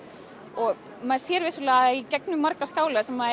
og maður sér vissulega í gegnum marga skála sem